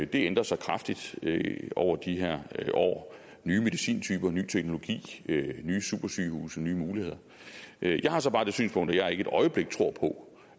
det ændrer sig kraftigt over de her år nye medicintyper ny teknologi nye supersygehuse nye muligheder jeg har så bare det synspunkt at jeg ikke et øjeblik tror på